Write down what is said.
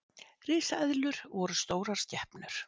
Risaeðlur voru stórar skepnur.